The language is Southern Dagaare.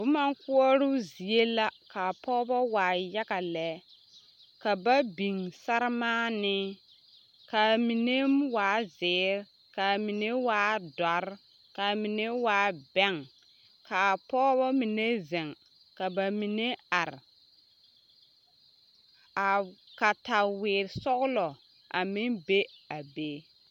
Boma koɔroo zie la k'a pɔgebɔ waa yaga lɛ, ka ba biŋ saremaanee, k'a mine waa zeere, k'a mine waa dɔre, k'a mine waa bɛŋ, k'a pɔgebɔ mine zeŋ ka bamine are, a kataweere sɔgelɔ a meŋ be a be.